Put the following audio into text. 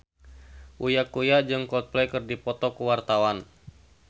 Uya Kuya jeung Coldplay keur dipoto ku wartawan